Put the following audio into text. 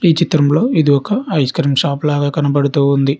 ఈ చిత్రంలో ఇది ఒక ఐస్ క్రీం షాప్ లాగా కనబడుతూ ఉంది.